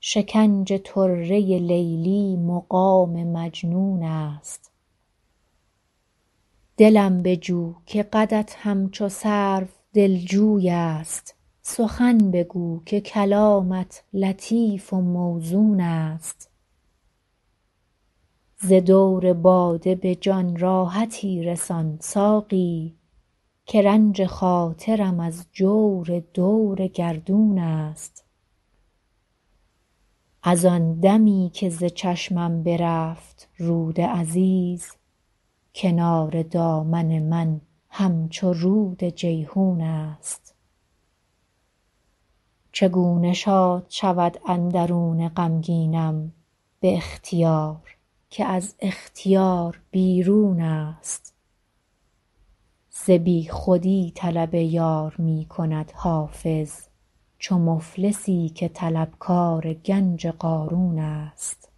شکنج طره لیلی مقام مجنون است دلم بجو که قدت همچو سرو دلجوی است سخن بگو که کلامت لطیف و موزون است ز دور باده به جان راحتی رسان ساقی که رنج خاطرم از جور دور گردون است از آن دمی که ز چشمم برفت رود عزیز کنار دامن من همچو رود جیحون است چگونه شاد شود اندرون غمگینم به اختیار که از اختیار بیرون است ز بیخودی طلب یار می کند حافظ چو مفلسی که طلبکار گنج قارون است